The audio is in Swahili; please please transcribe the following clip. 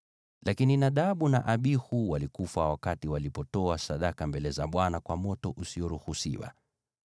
Lakini Nadabu na Abihu walikufa wakati walitoa sadaka mbele za Bwana kwa moto usioruhusiwa.)